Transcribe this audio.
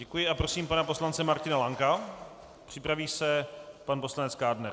Děkuji a prosím pana poslance Martina Lanka, připraví se pan poslanec Kádner.